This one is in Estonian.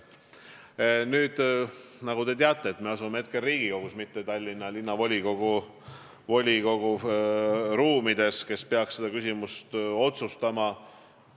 Nagu te teate, me oleme hetkel Riigikogus, mitte Tallinna Linnavolikogu ruumides, kes peaks seda küsimust otsustama.